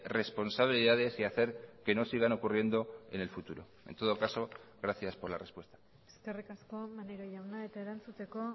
responsabilidades y hacer que no sigan ocurriendo en el futuro en todo caso gracias por la respuesta eskerrik asko maneiro jauna eta erantzuteko